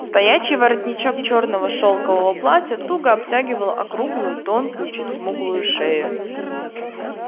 стоячий воротничок чёрного шелкового платья туго обтягивал округлую тонкую чуть смуглую шею